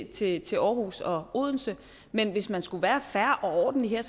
til til aarhus og odense men hvis man skulle være fair og ordentlig her